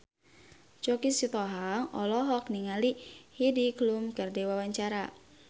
Choky Sitohang olohok ningali Heidi Klum keur diwawancara